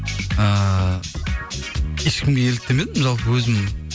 ыыы ешкімге еліктемедім жалпы өзім